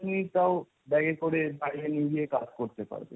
তুমি তাও bag এ করে বাইরে নিয়ে গিয়ে কাজ করতে পারবে।